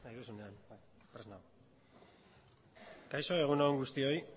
kaixo egun on guztioi